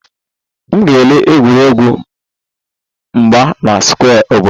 M ga-ele egwuregwu mgba na square obodo